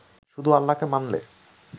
শুধু আল্লাহকে মানলে